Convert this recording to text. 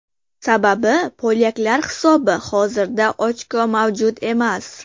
Sababi polyaklar hisobi hozirda ochko mavjud emas.